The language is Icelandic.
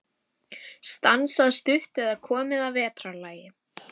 Stansað stutt eða komið að vetrarlagi.